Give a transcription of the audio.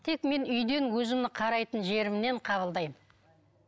тек мен үйден өзімнің қарайтын жерімнен қабылдаймын